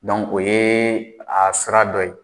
o ye a sira dɔ ye.